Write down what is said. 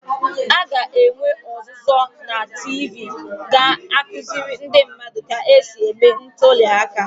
a ga-enwe ọzụzụ na TV ga-akụziri ndị mmadụ ka e si eme ntuli aka